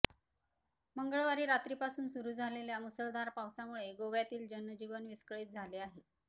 मंगळवारी रात्रीपासून सुरू असलेल्या मुसळधार पावसामुळे गोव्यातील जनजीवन विस्कळीत झाले आहे